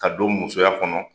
Ka don musoya kɔnɔ